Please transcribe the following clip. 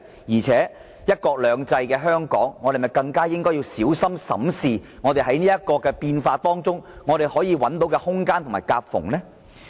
再者，實行"一國兩制"的香港，是否應要更小心審視在這個變化中可找到的空間和夾縫呢？